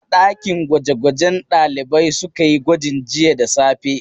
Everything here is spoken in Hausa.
A ɗakin gwaje-gwaje ne ɗalibai suka yi gwajin jiya da safe.